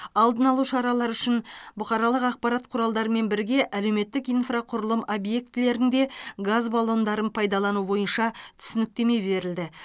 алдын алу шаралары үшін бұқаралық ақпарат құралдарымен бірге әлеуметтік инфрақұрылым объектілерінде газ баллондарын пайдалану бойынша түсініктеме берілді